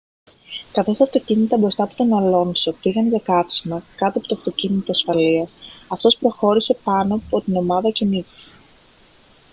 καθώς τα αυτοκίνητα μπροστά από τον αλόνσο πήγαν για καύσιμα κάτω από το αυτοκίνητο ασφαλείας αυτός προχώρησε πάνω από την ομάδα και νίκησε